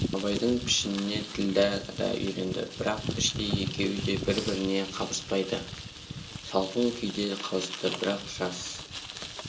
абайдың пішініне ділдә да үйренді бірақ іштей екеуі де бір-біріне қабыспайды салқын күйде қалысты бірақ жас